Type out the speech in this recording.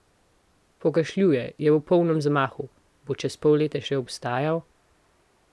Pokašljuje, je v polnem zamahu, bo čez pol leta še obstajal?